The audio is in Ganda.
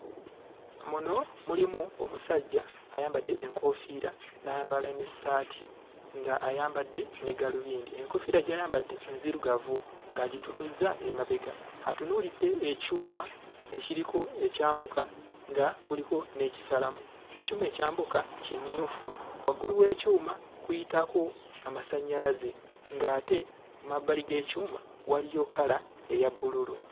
Muno mulimu omusajja ayambadde enkoofiira n'ayambala n'essaati ng'ayambadde ne gaalubindi. Enkoofiira gy'ayambadde nzirugavu ng'agitunuzza emabega. Atunuulidde ekyuma ekiriko ekyambuka nga kuliko n'ekisalamu. Ekyuma ekyambuka kimyufu, waggulu w'ekyuma kuyitako amasannyalaze ng'ate mu mabbali g'ekyuma waliyo kkala eya bbululu.